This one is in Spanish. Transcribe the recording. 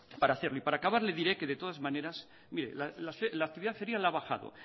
para hacerlo y para acabar le diré que de todas maneras la actividad ferial ha bajado